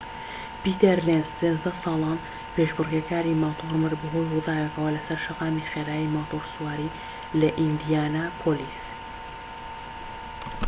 پیتەر لێنز ١٣ ساڵان پێشبڕكێکاری ماتۆر مرد بەهۆی ڕووداوێکەوە لەسەر شەقامی خێرای ماتۆڕسواری لە ئیندیانا پۆلیس